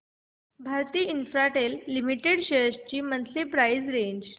Bharti Infratel limited shares ची monthly price range